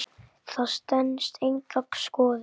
Það stenst enga skoðun.